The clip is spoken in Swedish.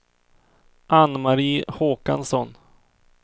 Ann-Mari Håkansson